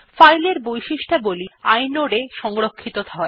file এর বৈশিষ্ট্যাবলী inode এ সংরক্ষিত হয়